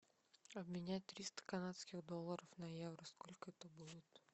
обменять триста канадских долларов на евро сколько это будет